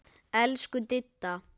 Elsku Didda.